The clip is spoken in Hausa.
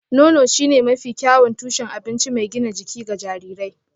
Nono shine mafi kyawun tushen abinci mai gina jiki ga jarirai